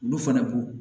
Olu fana ko